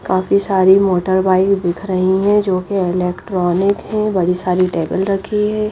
काफी सारी motor bike दिख रही हैं जो कि इलेक्ट्रॉनिक हैं बड़ी सारी टेबल रखी है।